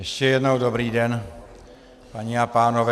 Ještě jednou dobrý den, paní a pánové.